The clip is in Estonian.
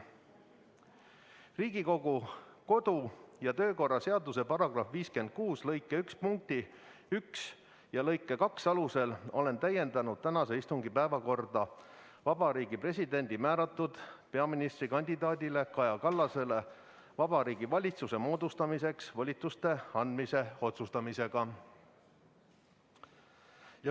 Riigikogu kodu- ja töökorra seaduse § 56 lõike 1 punkti 1 ja lõike 2 alusel olen täiendanud tänase istungi päevakorda Vabariigi Presidendi määratud peaministrikandidaadile Kaja Kallasele Vabariigi Valitsuse moodustamiseks volituste andmise otsustamisega.